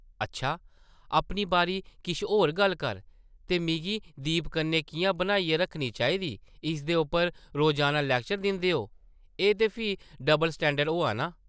अच्छा! अपनी बारी किश होर गल्ल कर , ते मिगी दीप कन्नै किʼयां बनाइयै रक्खनी चाहिदी, इसदे उप्पर रोज़ाना लैक्चर दिंदे ओ ! एह् ते फ्ही डब्ल स्टैंडर्ड होआ नां !